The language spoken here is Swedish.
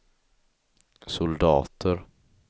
soldater